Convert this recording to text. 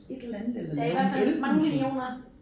Et eller andet eller lave nogle elbusser